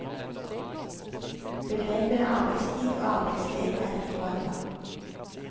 Begrepene arbeidstid og arbeidssted er ikke hva det var.